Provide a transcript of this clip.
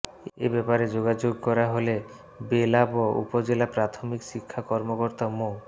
এ ব্যাপারে যোগাযোগ করা হলে বেলাব উপজেলা প্রাথমিক শিক্ষা কর্মকর্তা মো